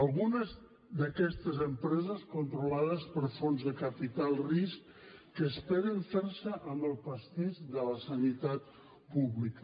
algunes d’aquestes empreses controlades per fons de capital risc que esperen fer se amb el pastís de la sanitat pública